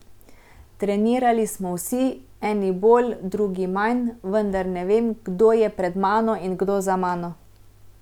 Trenirali smo vsi, eni bolj, drugi manj, vendar ne vem, kdo je pred mano in kdo za mano.